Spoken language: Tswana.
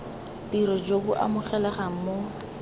tiro jo bo amogelegang mo